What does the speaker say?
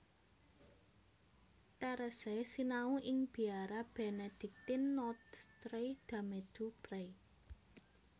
Therese sinau ing Biara Benediktin Notre Dame du Pré